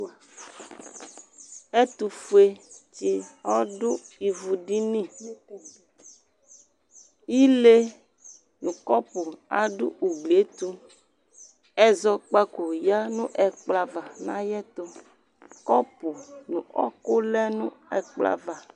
Ɛtʋ ƒuetsɩ ɔɖʋ ivuɖiniIle nʋ ƙɔpʋ aɖʋ ugliɛtʋƐzɔƙpaƙo ƴǝ n'ɛƙplɔ ava n'ayɛ tʋ,ƙɔpʋ nʋ ɔƙʋ lɛ nʋ ɛƙplɔ ava